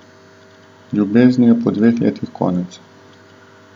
Ljubezni je po dveh letih konec.